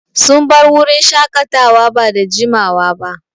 Sun bar wurin shaƙatawa ba da jiamawa ba.